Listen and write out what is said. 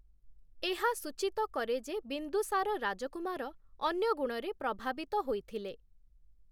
ଏହା ସୂଚିତ କରେ ଯେ, ବିନ୍ଦୁସାର ରାଜକୁମାର ଅନ୍ୟ ଗୁଣରେ ପ୍ରଭାବିତ ହୋଇଥିଲେ ।